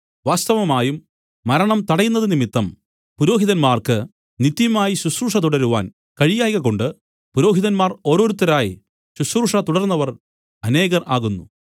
വാസ്തവമായും മരണം തടയുന്നത് നിമിത്തം പുരോഹിതന്മാർക്ക് നിത്യമായി ശുശ്രൂഷ തുടരുവാൻ കഴിയായ്കകൊണ്ട് പുരോഹിതന്മാർ ഓരോരുത്തരായി ശുശ്രൂഷതുടർന്നവർ അനേകർ ആകുന്നു